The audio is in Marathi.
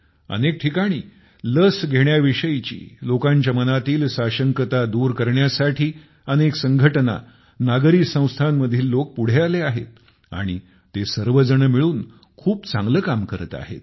अनेक ठिकाणी लस घेण्याविषयीची लोकांच्या मनातील दुविधा दूर करण्यासाठी अनेक संघटना नागरी संस्थांतील लोक पुढे आले आहेत आणि ते सर्वजण मिळून खूप चांगले काम करत आहेत